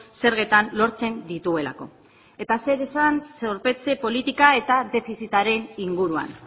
zergetan lortzen dituelako eta zer esan zorpetze politika eta defizitaren inguruan